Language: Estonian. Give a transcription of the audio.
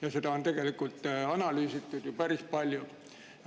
Ja seda on analüüsitud ju tegelikult päris palju.